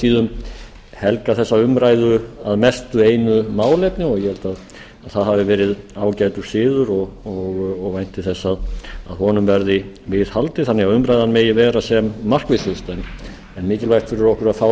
tíðum helgað þessa umræðu að mestu einu málefni og ég held að það hafi verið ágætur siður og vænti þess að honum verði viðhaldið þannig að umræðan megi vera sem markvissust en mikilvægt fyrir okkur að fá